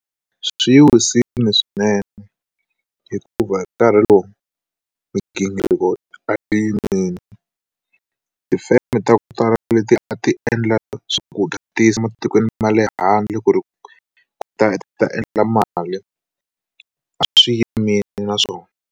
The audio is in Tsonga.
Swi yi wisile swinene hikuva hi nkarhi lowu migingiriko a yimile tifeme ta ku tala ku leti a ti endla swakudya ti yisa matikweni ma le handle ku ri ku ta ta endla mali a swi yimile naswona.